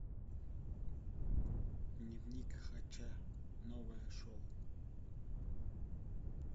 дневник хача новое шоу